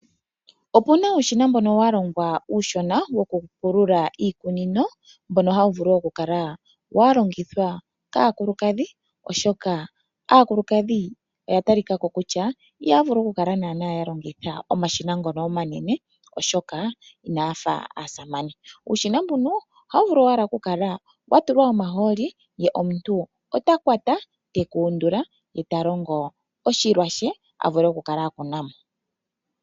Oku na uushina mbono wa longwa uushona wokupulula iikunino mbono hawu vulu wo okukala wa longithwa kaakulukadhi, oshoka aakulukadhi oya talika ko kutya ihaya vulu okukala ya longitha omashina ngono omanene, oshoka inaya fa aasamane. Uushina mbuno ohawu vulu owala okala wa tulwa omahooli ye omuntu ota kwata te ka undula ye ta longo oshilwa she a vule okukala a kuna mo.